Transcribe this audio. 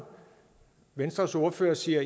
venstres ordfører siger